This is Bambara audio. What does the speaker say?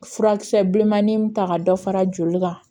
Furakisɛ bilenmanin ta ka dɔ fara joli kan